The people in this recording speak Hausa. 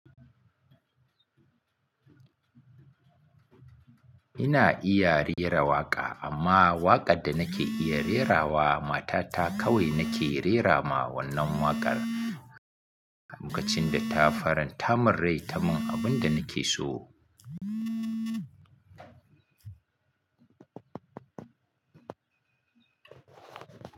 Ina iya rera waƙa amma waƙar da nake iya rerawa mata ta kawai nake rerama wannan waƙar. Lokacin da ta faran ta man rai ta mun abun da nake so.